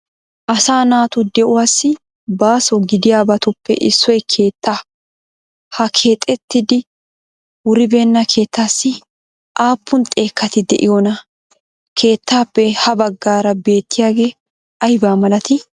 Asaa naatu de'uwassi baasso gidiyabatuppe issoy keettaa, ha keexxettidi wuribenna keettaassi aappun xekkati de'iyonaa? Keettaappe ha baggaara beettiyagee ayba malatii?